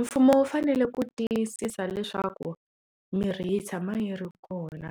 Mfumo wu fanele ku tiyisisa leswaku mirhi yi tshama yi ri kona